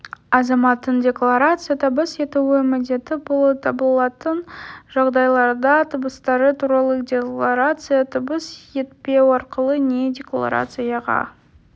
азаматтың декларация табыс етуі міндетті болып табылатын жағдайларда табыстары туралы декларация табыс етпеу арқылы не декларацияға